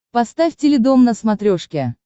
поставь теледом на смотрешке